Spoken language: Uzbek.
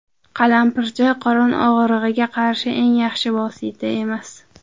Qalampir choy qorin og‘rig‘iga qarshi eng yaxshi vosita emas.